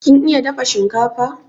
kin iya dafa shinkafan?